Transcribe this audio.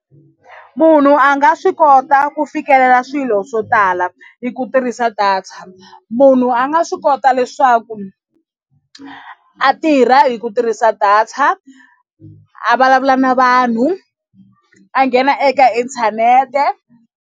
Munhu a nga swi kota ku fikelela swilo swo tala hi ku tirhisa data munhu a nga swi kota leswaku a tirha hi ku tirhisa data a vulavula na vanhu a nghena eka inthanete.